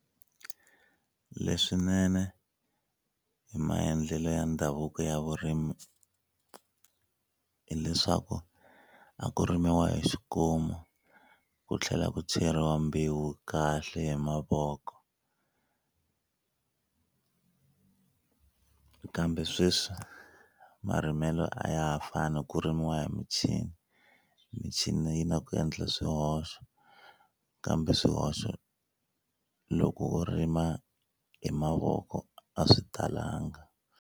Leswinene hi maendlelo ya ndhavuko ya vurimi hileswaku a ku rimiwa hi xikomu ku tlhela ku cheriwa mbewu kahle hi mavoko kambe sweswi marimelo a ya ha fani ku rimiwa hi michini michini yi na ku endla swihoxo kambe swihoxo loko rima hi mavoko a swi talanga.